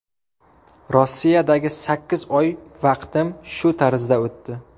Rossiyadagi sakkiz oy vaqtim shu tarzda o‘tdi.